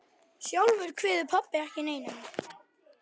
Sjálfur kveið pabbi ekki neinu.